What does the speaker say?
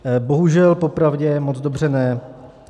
Bohužel, popravdě moc dobře ne.